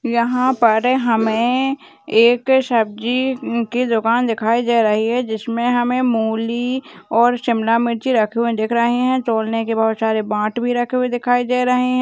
यहां पर हमें एक सब्जी की दुकान दिखाई दे रही है जिसमें हमें मूली और शिमला मिर्ची रखे हुए दिख रही है तौलने के बहुत सारे बांट भी रखे हुए दिखाई दे रहे है।